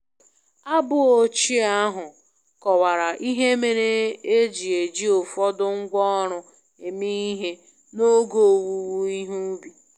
Abụ ochie ahụ kọwara ihe mere e ji eji ụfọdụ ngwá ọrụ eme ihe n’oge owuwe ihe ubi